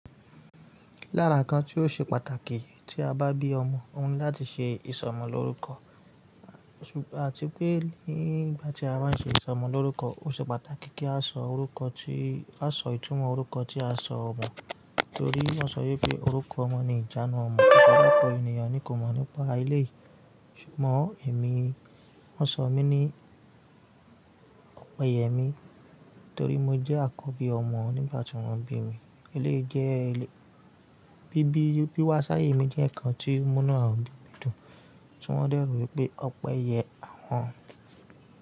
Lára ǹkan tí ó ṣe pàtàkì tí a bá bí ọmọ, òun ni láti ṣe ìsọmọlórúkọ àti pé nígbà tí a bá ṣe ìsọmọlórúkọ, ó ṣe pàtàkì kí a sọ orúkọ tí a sọ ìtumọ̀ orúkọ tí a sọ ọmọ. Nítorí wọ́n ṣọ wípé orúkọ ọmọ ni ìjánu ọmọ, kò sí orukọ ènìyàn ni kò mọ̀ nípa elèyi. Ṣùgbọ́n èmi, wọ́n ṣọ mí ní Ọpẹ́yẹmí torí mo jẹ́ àkọ́bí ọmọ nígbà tí wọ́n bí mi. Eléyìí jẹ́ bí wá ṣáàyẹ̀mí jẹ́ ǹkan tí múnú awon obi mi dùn, tí wọ́n dẹ̀ rò wípé Ọpẹ́yẹ àwọn.